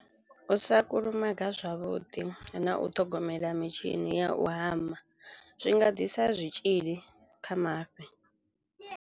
U sa kulumaga zwavhuḓi na u ṱhogomela mitshini ya u hama zwi nga ḓisa zwitzhili kha mafhi.